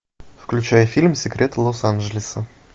включай фильм секреты лос анджелеса